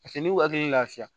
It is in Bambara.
Paseke n'u hakili lafiyara